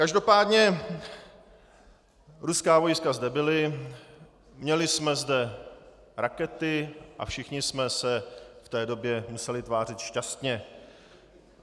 Každopádně - ruská vojska zde byla, měli jsme zde rakety a všichni jsme se v té době museli tvářit šťastně.